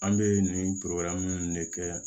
An bɛ nin ninnu de kɛ